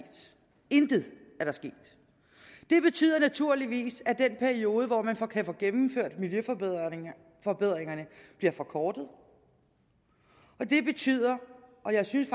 intet det betyder naturligvis at den periode hvor man kan kan få gennemført miljøforbedringerne bliver forkortet og det betyder og jeg synes